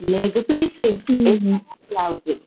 leg piece